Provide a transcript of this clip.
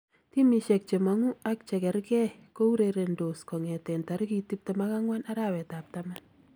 Timisiek chemongu ak chekerkee kourerendos kong'eteen tarikit 24 arawetab taman